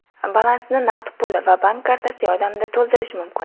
Balansni naqd pul va bank kartasi yordamida to‘ldirish mumkin.